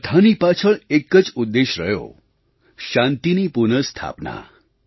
તે બધાંની પાછળ એક જ ઉદ્દેશ્ય રહ્યો શાંતિની પુનઃસ્થાપના